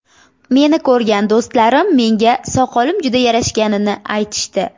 Meni ko‘rgan do‘stlarim menga soqolim juda yarashganini aytishdi.